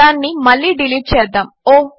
దానిని మళ్ళీ డిలీట్ చేద్దాము